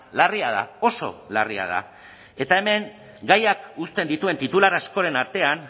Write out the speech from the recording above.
larria da oso larria da eta hemen gaiak uzten dituen titular askoren artean